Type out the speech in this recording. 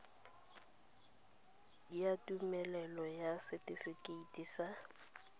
ya tumelelo ya setifikeite sa